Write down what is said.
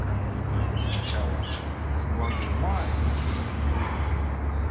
как бы это ни звучало склада ума и